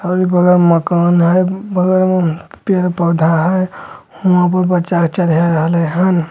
और इ बगल मकान हेय बगल में पेड़-पौधा हेय हूंआ पर बच्चा के चढ़ा रहले हेन।